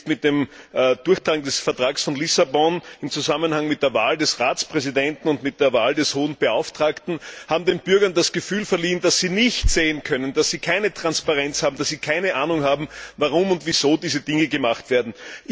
jetzt mit dem Durchdrang des Vertrags von Lissabon im Zusammenhang mit der Wahl des Ratspräsidenten und mit der Wahl des Hohen Beauftragten haben dem Bürger das Gefühl verliehen, dass sie nicht sehen können, dass sie keine Transparenz haben und dass sie keine Ahnung haben, warum und wieso diese Dinge gemacht werden.